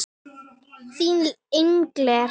Þín, Inger.